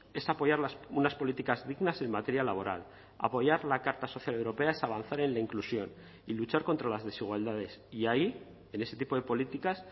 es apoyar unas políticas dignas en materia laboral apoyar la carta social europea es avanzar en la inclusión y luchar contra las desigualdades y ahí en ese tipo de políticas